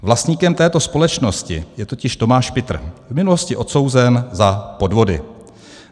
Vlastníkem této společnosti je totiž Tomáš Pitr, v minulosti odsouzený za podvody.